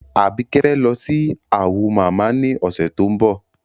Àbíkẹ́ fẹ́ lọ sí Awo mama ní ọ̀sẹ̀ tó ń bọ̀.